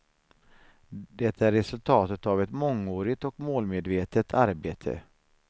Det är resultatet av ett mångårigt och målmedvetet arbete.